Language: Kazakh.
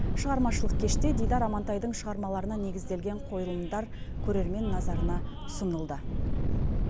шығармашылық кеште дидар амантайдың шығармаларына негізделген қойылымдар көрермен назарына ұсынылды